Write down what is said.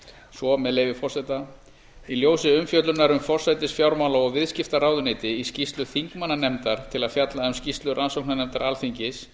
svo með leyfi forseta í ljósi umfjöllunar um forsætis fjármála og viðskiptaráðuneyti í skýrslu þingmannanefndar til að fjalla um skýrslu rannsóknarnefndar alþingis